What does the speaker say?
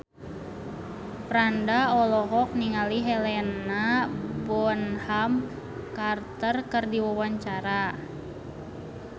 Franda olohok ningali Helena Bonham Carter keur diwawancara